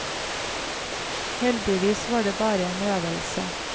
Heldigvis var den bare en øvelse.